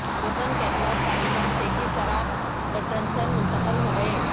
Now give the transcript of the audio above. Roman Catholic تعلیمات سے کس طرح لوٹرنسن منتقل ہوگئے